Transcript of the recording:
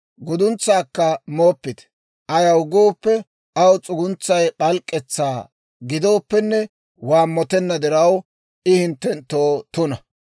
Guduntsaakka mooppite; ayaw gooppe, aw s'uguntsay p'alk'k'etsaa gidooppenne, waammotenna diraw, I hinttenttoo tuna.